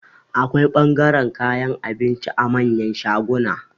Akwai ɓangaren kayan abinci a manyan shaguna